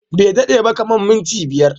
Bai dade ba, kamar minti biyar.